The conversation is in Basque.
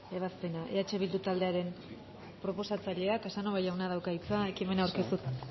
ebazpena eh bildu taldearen proposatzaileak casanova jaunak dauka hitza ekimena aurkeztu eta